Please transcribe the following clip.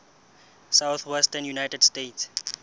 southwestern united states